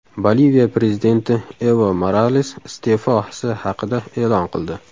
Boliviya prezidenti Evo Morales iste’fosi haqida e’lon qildi.